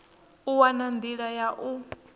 u wana nḓila ya u